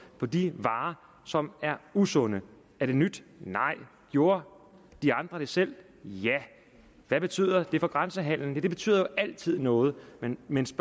på de varer som er usunde er det nyt nej gjorde de andre det selv ja hvad betyder det for grænsehandel det betyder jo altid noget men men så